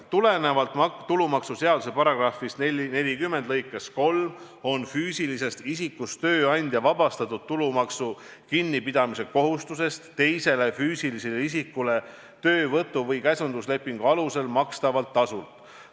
Tulenevalt tulumaksuseadusest on füüsilisest isikust tööandja vabastatud tulumaksu kinnipidamise kohustusest teisele füüsilisele isikule töövõtu- või käsunduslepingu alusel makstava tasu korral.